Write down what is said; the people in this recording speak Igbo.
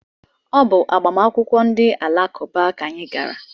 Ọ bụ agbamakwụkwọ ndị alakụba ka anyị gara.